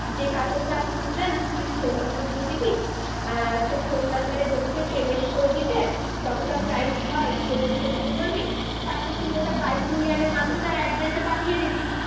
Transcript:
যে কাপড়টা আপনি নিতে চান তুই phone number দিয়ে দিবি আর তর phone number বলবি যে payment করে দিতে যতটা price ধর payment করে দিতে বলবি তার পর তুই ওটা by courier এর মাধ্যমে তার address এ পাঠিয়ে দিবি